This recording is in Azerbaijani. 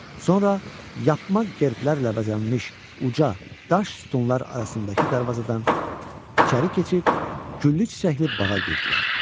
Sonra yapma qərblərlə bəzənmiş uca daş sütunlar arasındakı darvazadan içəri keçib güllü çiçəkli bağa girdilər.